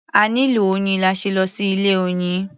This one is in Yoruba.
A nílò oyin la ṣe lọ sí ilé-oyin.